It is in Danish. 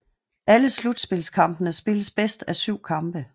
Alle slutspilskampene spilles bedst af syv kampe